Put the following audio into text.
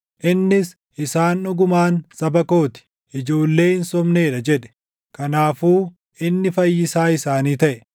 Innis, “Isaan dhugumaan saba koo ti; ijoollee hin sobnee dha” jedhe; kanaafuu inni Fayyisaa isaanii taʼe.